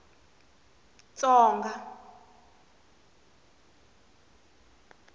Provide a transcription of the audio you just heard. tsonga